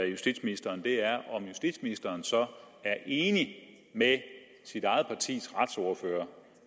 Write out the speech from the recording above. justitsministeren er om justitsministeren så er enig med sit eget partis retsordfører